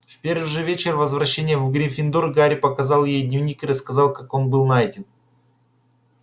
в первый же вечер возвращения в гриффиндор гарри показал ей дневник и рассказал как он был найден